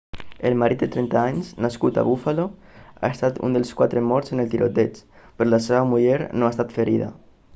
el marit de 30 anys nascut a buffalo ha estat un dels quatre morts en el tiroteig però la seva muller no ha estat ferida